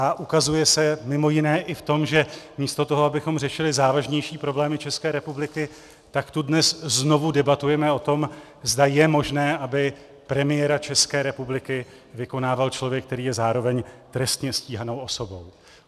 A ukazuje se mimo jiné i v tom, že místo toho, abychom řešili závažnější problémy České republiky, tak tu dnes znovu debatujeme o tom, zda je možné, aby premiéra České republiky vykonával člověk, který je zároveň trestně stíhanou osobou.